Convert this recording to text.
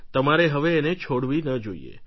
તમારે હવે એને છોડવી ન જોઈએ